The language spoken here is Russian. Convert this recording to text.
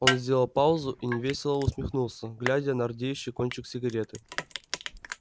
он сделал паузу и невесело усмехнулся глядя на рдеющий кончик сигареты